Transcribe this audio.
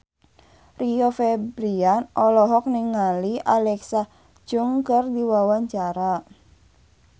Rio Febrian olohok ningali Alexa Chung keur diwawancara